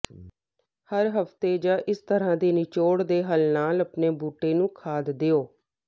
ਹਰ ਹਫ਼ਤੇ ਜਾਂ ਇਸ ਤਰ੍ਹਾਂ ਦੇ ਨਿਚੋੜ ਦੇ ਹੱਲ ਨਾਲ ਆਪਣੇ ਬੂਟੇ ਨੂੰ ਖਾਦ ਦਿਓ